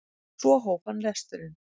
Svo hóf hann lesturinn.